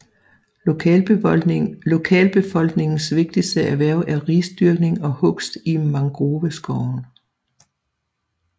Lokalbefolkningens vigtigste erhverv er risdyrkning og hugst i mangroveskoven